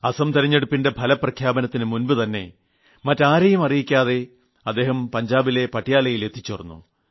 അസം തിരഞ്ഞെടുപ്പിന്റെ ഫലപ്രഖ്യാപനത്തിന് മുമ്പ് തന്നെ മറ്റാരെയും അറിയിക്കാതെ അദ്ദേഹം പഞ്ചാബിലെ പട്യാലയിൽ എത്തിച്ചേർന്നു